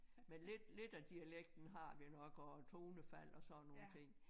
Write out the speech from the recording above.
Men lidt lidt af dialekten har vi nok også tonefald og sådan nogle ting